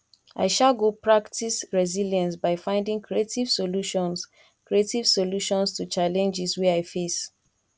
i um go practice resilience by finding creative solutions creative solutions to challenges wey i face